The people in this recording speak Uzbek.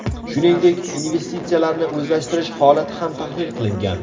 Shuningdek, investitsiyalarni o‘zlashtirish holati ham tahlil qilingan.